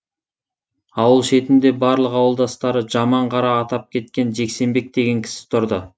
ауыл шетінде барлық ауылдастары жаман қара атап кеткен жексенбек деген кісі тұрды